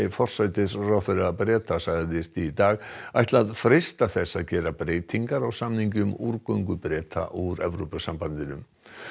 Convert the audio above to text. forsætisráðherra Bretlands sagðist í dag ætla að freista þess að gera breytingar á samningi um Breta úr Evrópusambandinu